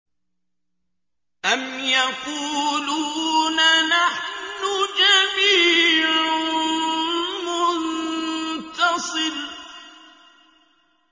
أَمْ يَقُولُونَ نَحْنُ جَمِيعٌ مُّنتَصِرٌ